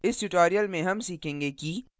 इस tutorial में हम सीखेंगे कि